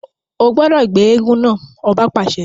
O gbọdọ gbé èègún náà! ọba paṣẹ